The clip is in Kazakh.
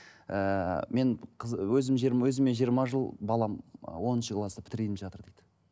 ыыы мен қыз өзім өзіме жиырма жыл балам ы оныншы классты бітірейін деп жатыр дейді